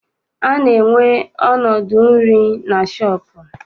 A na-enwe ọnọdụ nri na shọọpụ.